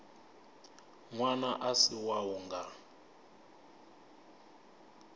ṅwana a si wau nga